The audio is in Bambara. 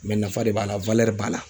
nafa de b'a la b'a la.